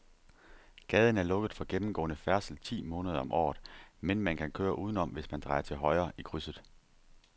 Gaden er lukket for gennemgående færdsel ti måneder om året, men man kan køre udenom, hvis man drejer til højre i krydset.